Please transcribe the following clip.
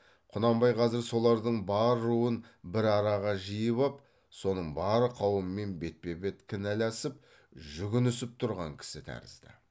құнанбай қазір солардың бар руын бір араға жиып ап соның бар қауымымен бетпе бет кінәласып жүгінісіп тұрған кісі тәрізді